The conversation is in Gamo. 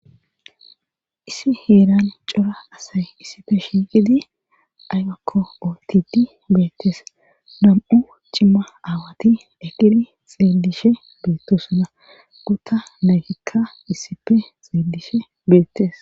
issi heeran cora asay issife shiiqidi aygakko ootidi beettes nam7u cimma aawati ekidi xeelishe beettosuna gutta nagikka issife xeelishe beettes